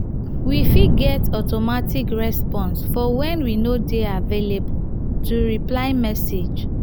we fit get automatic response for when we no dey available to reply message